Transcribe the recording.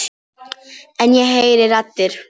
En ég heyri raddir.